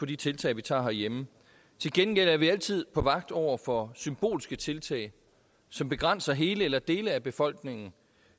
de tiltag vi tager herhjemme til gengæld er vi altid på vagt over for symbolske tiltag som begrænser hele eller dele af befolkningen